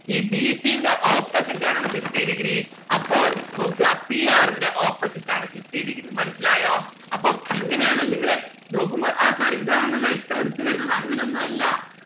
ഈ b c ന്റെ opposite ആണ് fifty degree അപ്പൊൾ നോക്ക p r ന്റെ opposite ആണ് fifty degree മനസ്സിലായോ? അപ്പം എങ്ങനെയാണ് നിങ്ങള് നോക്കുമ്പോ ആ sir ഇതാണല്ലേ ഏറ്റവും അടുത്ത് വരുന്നത് അങ്ങനെ ഒന്നു അല്ല